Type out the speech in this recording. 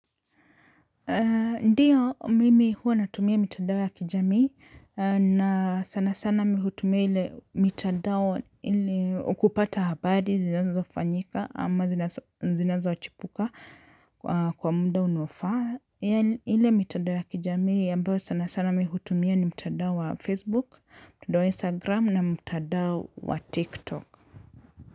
Ndiyo, mimi huwa natumia mitandao ya kijamii, na sana sana mimi hutumia ile mitandao ili kupata habari zinazofanyika ama zinazochipuka. Kwa muda unaofaa, ile mitandao ya kijamii ambayo sana sana mimi hutumia ni mtandao wa Facebook, mtandao wa Instagram na mtandao wa TikTok.